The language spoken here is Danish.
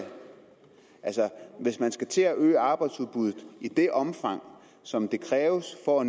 altså hvis man skal til at øge arbejdsudbuddet i det omfang som det kræves for